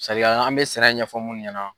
an bɛ sɛnɛ ɲɛfɔ minnu ɲana.